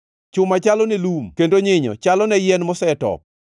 Chuma chalone lum kendo nyinyo chalone yien mosetop.